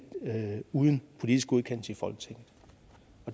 uden politisk godkendelse i folketinget